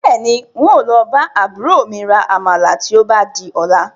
Bẹ́ẹ̀ni, ń ó lọ bá àbúrò mi rà Àmàlà tí ó bá di ọ̀la